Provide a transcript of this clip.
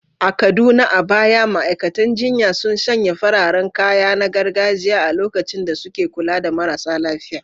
A Kaduna, a baya ma’aikatan jinya sun sanya fararen kaya na gargajiya a lokacin da suke kula da marasa lafiya.